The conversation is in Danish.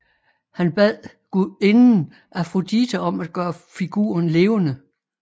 Han bad gudinden Afrodite om at gøre figuren levende